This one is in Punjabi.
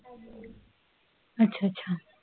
ਅੱਛਾ ਅੱਛਾ